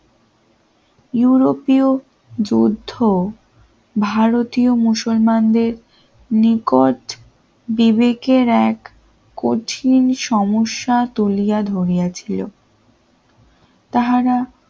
ইউরোপীয় যুদ্ধ ভারতীয় মুসলমানদের নিকট বিবেকের এক কঠিন সমস্যা তুলিয়া ধরিয়াছিল তাহারা